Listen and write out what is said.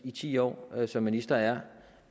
i ti år som minister er